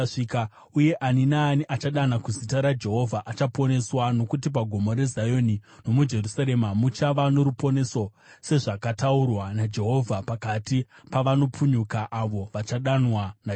Uye ani naani anodana kuzita raJehovha achaponeswa; nokuti paGomo reZioni nomuJerusarema muchava noruponeso, sezvakataurwa naJehovha, pakati pavanopunyuka, avo vachadanwa naJehovha.